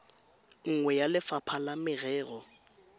nngwe ya lefapha la merero